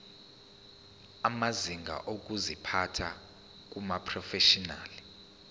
amazinga okuziphatha kumaprofeshinali